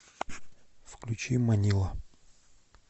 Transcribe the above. включи манила